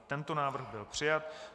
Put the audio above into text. I tento návrh byl přijat.